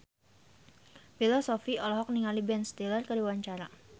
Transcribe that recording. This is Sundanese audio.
Bella Shofie olohok ningali Ben Stiller keur diwawancara